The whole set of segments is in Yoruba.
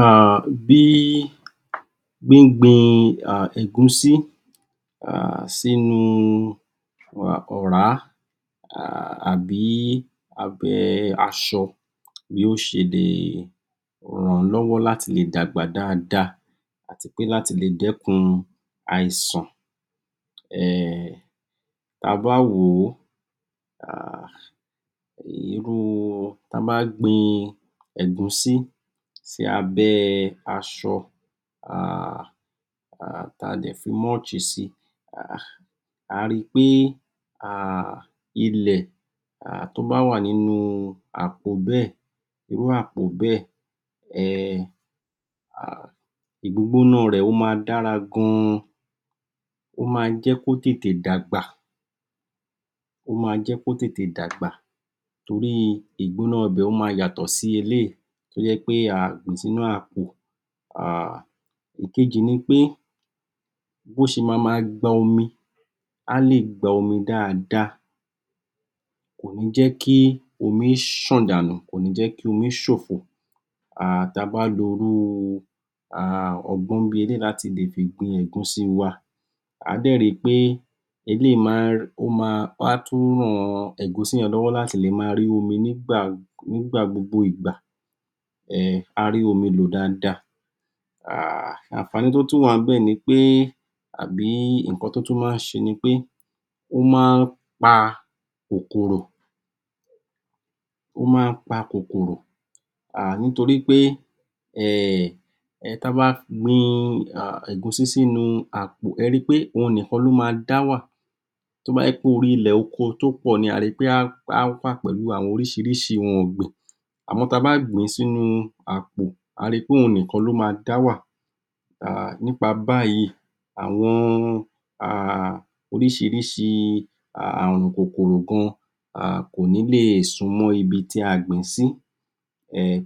um Bí gbígbin um ẹ̀gúsí sínu ọ̀rá àbí abẹ́ asọ, bí ó ṣe lè ràn-àn lọ́wọ́ láti le dàgbà dáadáa àti pé láti le dẹ́kun àìsàn. um Ta bá wòó, um irú ta bá gbin ẹ̀gúsí sí abẹ́ asọ, um ta dẹ̀ fi mulch si. um Á ri pé um ile um tó bá wà nínú àpò bẹ́ẹ̀. Irú àpò bẹ́ẹ̀ ìgbógbóná rẹ̀, ó má dàra gan, ó ma jẹ́ kó tètè dàgbà, ó ma jẹ́ kó tètè dàgbà toríi ìgbógbóná ibẹ̀ ó má yàtọ̀ sí eléyìí tó jẹ́ pé aà gbìn-ín sínú àpò. um ìkejì ni pé, bó ṣe ma ma gba omi, á lè gba omi dáadáa, kò ní jẹ́ kí omi ṣan dànù, kò ní jẹ́ kí omi ṣòfo. um Ta bá irú um ọgbọ́n bí eléyìí láti fi gbin ẹ̀gúsí wa, Á dẹ̀ ri pé, eléyìí á tún ran ẹ̀gúsí yẹn lọ́wọ́ láti lè máa omi nígbà gbogbo ígbà, á rí omi lọ̀ dáadáa. um Ànfàní tó tún wà níbẹ̀ pé, àbí ǹkan tó tún maá ṣe ni pé, ó má ń pa kòkòrò, ó má ń pa kòkòrò. um nítorípé um ta bá gbin ẹ̀gúsí sínu àpò, ẹ̀ẹ́ ri pé òun nìkan ló ma dá wà, tó bá jẹ́ pé orí ilẹ̀ oko tó pọ̀ ni, ẹ̀ẹ́ ri pé áá wà pẹ̀lú orísìíríìí ohun ọ̀gbìn. À mọ́ ta bá gbìn-ín sínu àpò, àá ri pé òun nìkan ló ma dá wà. Nípa báyìí, àwọn um orísìíríìí àrùn kòkòrò gan kò ní lè súnmọ́ ibití a gbìn-ín sí,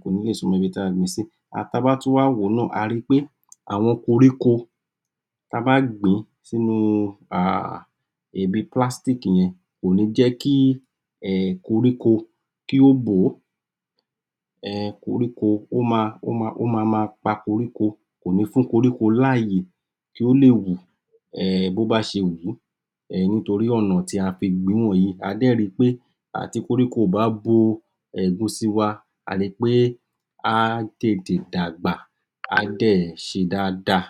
kò ní lè súnmọ́ ibi ta gbìn sí Ta bá tún wà wòó náà, a ri pé àwọn koríko ta bà gbìn-ín sínu um ibi plastic yẹn, kò ní jẹ́ kí koríko kí ó bòó. um ó ma ma pa koríko, kò ní fún koríko láàyè kí ó lè wù bó bá ṣe wùú. NÍtorí ọ̀nà tí a fi gbìn-ín wọ̀nyí. Á dẹ̀ ri pé um tí koríko kò bá bo ẹ̀gúsí wa, a ri pé, á tètè dàgbà. Á dẹ̀ ṣe dáadáa.